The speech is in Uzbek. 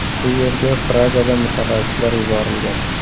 U yerga Pragadan mutaxassislar yuborilgan.